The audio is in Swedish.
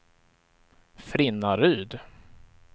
Frinnaryd